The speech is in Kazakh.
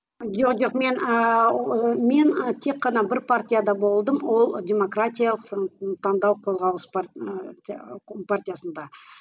жоқ мен ііі мен і тек қана бір партияда болдым ол демократиялық таңдау қозғалыс ы партиясында